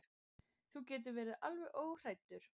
Þú getur verið alveg óhræddur.